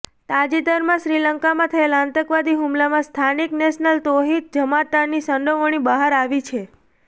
તાજેતરમાં શ્રીલંકામાં થયેલા આતંકવાદી હુમલામાં સ્થાનિક નેશનલ તૌહિત જમાતની સંડોવણી બહાર આવી છે